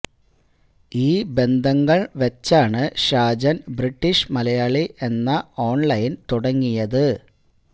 ഈ ബന്ധങ്ങള് വയ്ച്ചാണ് ഷാജന് ബ്രിട്ടീഷ് മലയാളി എന്ന ഓണ്ലൈന് തുടങ്ങിയത്